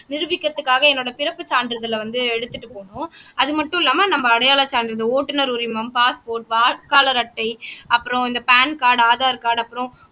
நிரூபிக்கிறதுக்காக என்னோட பிறப்பு சான்றிதழை வந்து எடுத்துட்டு போனும் அது மட்டும் இல்லாம நம்ம அடையாளச் சான்றிதழ் ஓட்டுநர் உரிமம் பாஸ்போர்ட் வாக்காளர் அட்டை அப்புறம் இந்த PAN கார்ட் ஆதார் கார்ட் அப்புறம்